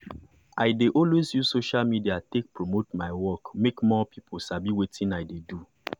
i dey always use social media take promote my work make more people sabi wetin i dey do.